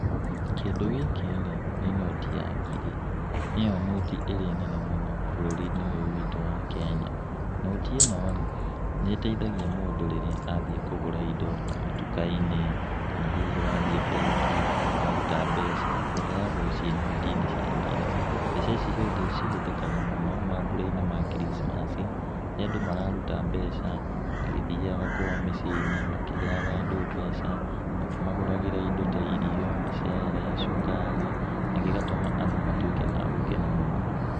Kĩndũ gĩkĩ rĩ nĩ noti ya ngiri, nĩyo noti ĩrĩa nene mũno bũrũri-inĩ ũyũ witũ wa Kenya. Noti ĩno rĩ nĩ ĩteithagia mũndũ rĩrĩa athie kũgũra indo ta matulka-inĩ kana hihi wathiĩ bengi waruta mbeca, ũheagwo ciĩ noti-inĩ cia ngiri. Mbeca ici cihũthĩkaga mũno mambura-inĩ ma kiricimaci, rĩrĩa andũ mararuta mbeca magĩthiaga kwao mĩciĩ-inĩ makĩheaga andũ mbeca, makĩmagũragĩra indo ta irio, mĩcere, cukari, na gĩgatũma andũ matuĩke a gũkena mũno.